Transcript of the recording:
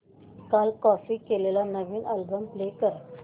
काल कॉपी केलेला नवीन अल्बम प्ले कर